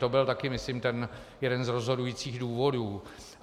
To byl taky myslím ten jeden z rozhodujících důvodů.